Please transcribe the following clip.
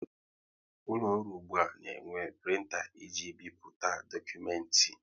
Ụlọ ọrụ ụgbụa na enwe printa e ji ebipụta dokumenti